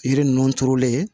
Yiri ninnu turulen